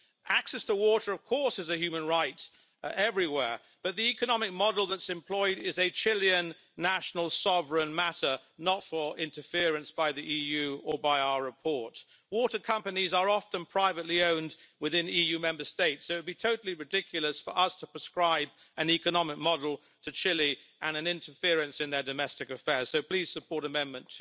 Access to water is, of course, a human right everywhere, but the economic model that is employed is a Chilean national sovereign matter, not for interference by the EU or by our report. Water companies are often privately owned within EU Member States, so it would be totally ridiculous for us to prescribe an economic model to Chile and interference in their domestic affairs. So please support Amendment